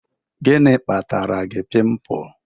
Gini kpatara gi pịmpul?